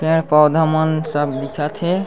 पेड़-पौधा मन सब दीखत हे।